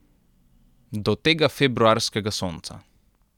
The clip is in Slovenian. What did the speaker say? Do tega februarskega sonca.